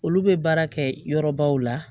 Olu bɛ baara kɛ yɔrɔbaw la